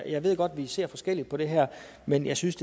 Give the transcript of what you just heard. jeg ved godt at vi ser forskelligt på det her men jeg synes